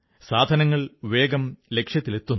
സാധനങ്ങൾ വേഗം ലക്ഷ്യങ്ങളിലെത്തുന്നു